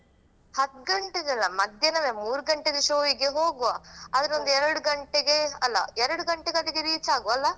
ಹತ್ ಗಂಟೆಗಲ್ಲಾ ಮಧ್ಯಾಹ್ನದ ಮೂರ್ ಗಂಟೆದ್ದು show ಗೆ ಹೋಗುವ. ಹ. ಅದರೊಂದು ಎರಡ್ ಗಂಟೆ ಗೆ ಅಲ್ಲಾ ಎರಡ್ ಗಂಟೆ ಗೆ reach ಆಗುವ ಅಲ್ಲಾ.